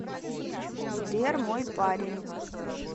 сбер мой парень